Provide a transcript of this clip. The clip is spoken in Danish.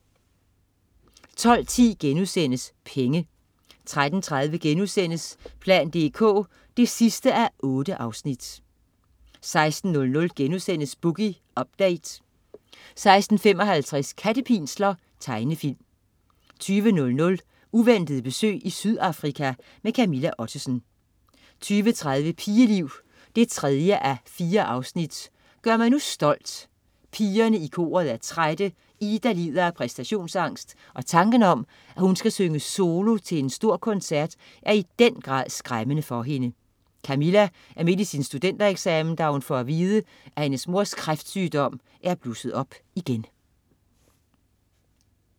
12.10 Penge* 13.30 plan dk 8:8* 16.00 Boogie Update* 16.55 Kattepinsler. Tegnefilm 20.00 Uventet besøg i Sydafrika. Camilla Ottesen 20.30 Pigeliv 3:4. "Gør mig nu stolt". Pigerne i koret er trætte. Ida lider af præstationsangst, og tanken om at hun skal synge solo til en stor koncert, er i den grad skræmmende for hende. Camilla er midt i sin studentereksamen, da hun får at vide, at hendes mors kræftsygdom er blusset op igen